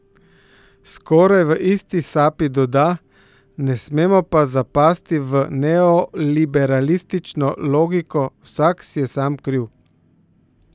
Skoraj v isti sapi doda: "Ne smemo pa zapasti v neoliberalistično logiko vsak si je sam kriv.